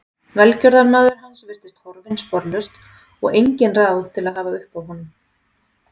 Velgjörðarmaður hans virtist horfinn sporlaust og engin ráð til að hafa uppi á honum.